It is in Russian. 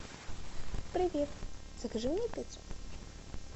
привет закажи мне пиццу